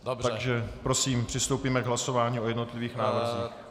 Takže prosím, přistoupíme k hlasování o jednotlivých návrzích.